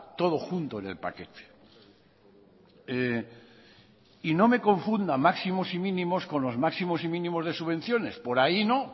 todo junto en el paquete y no me confunda máximos y mínimos con los máximos y mínimos de subvenciones por ahí no